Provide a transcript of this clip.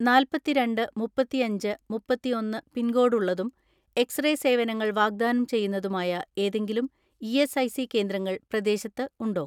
നാല്പത്തിരണ്ട്‍ മുപ്പത്തിഅഞ്ച് മുപ്പത്തിഒന്ന് പിൻകോഡ് ഉള്ളതും എക്സ്റേ സേവനങ്ങൾ വാഗ്ദാനം ചെയ്യുന്നതുമായ ഏതെങ്കിലും ഇഎസ്ഐസി കേന്ദ്രങ്ങൾ പ്രദേശത്ത് ഉണ്ടോ?